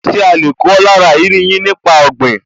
Ṣe a lè kọ́ lára ìrírí yín nípa ọ̀gbìn?